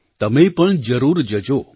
તમે પણ જરૂર જજો